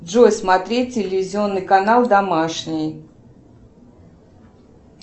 джой смотреть телевизионный канал домашний